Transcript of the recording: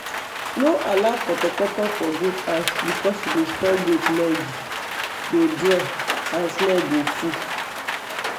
no allow portoporto for goat house because e dey spoil goat lege dey draw and smell go full